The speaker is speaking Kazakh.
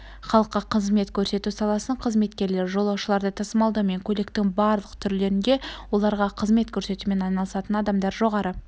халыққа қызмет көрсету саласының қызметкерлері жолаушыларды тасымалдаумен көліктің барлық түрлерінде оларға қызмет көрсетумен айналысатын адамдар жоғары